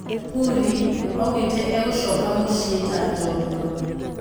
Purĩ augĩte egũcoka mũciĩ ta-"njorwa".